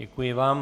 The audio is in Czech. Děkuji vám.